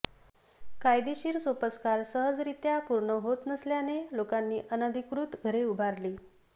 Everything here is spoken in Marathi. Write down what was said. कायदेशीर सोपस्कर सहजरित्या पूर्ण होत नसल्याने लोकांनी अनधिकृत घरे उभारली